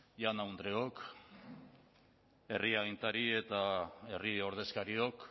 jaun andreok herri agintari eta herri ordezkariok